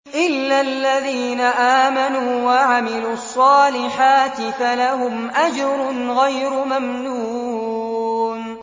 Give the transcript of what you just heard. إِلَّا الَّذِينَ آمَنُوا وَعَمِلُوا الصَّالِحَاتِ فَلَهُمْ أَجْرٌ غَيْرُ مَمْنُونٍ